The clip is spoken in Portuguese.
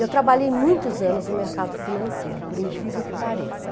Eu trabalhei muitos anos no mercado financeiro, por incrível que pareça.